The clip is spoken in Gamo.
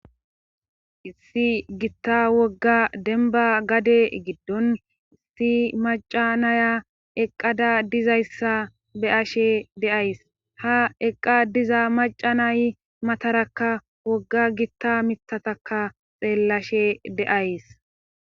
issi gitta wogga denba gade giddon issi macanaya eqqada dizayssa be ashe deays ha eqqa diza maca nay matarakka wogga gitta mittataka xeellashe deays